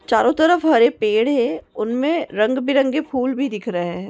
चारो तरफ हरे पेड़ है उनमें रंग बिरंगे फूल भी दिख रहे है।